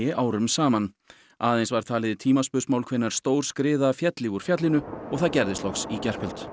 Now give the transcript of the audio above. árum saman aðeins var talið tímaspursmál hvenær stór skriða félli úr fjallinu það gerðist loks í gærkvöld